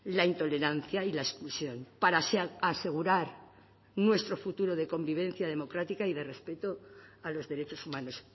la intolerancia y la exclusión para asegurar nuestro futuro de convivencia democrática y de respeto a los derechos humanos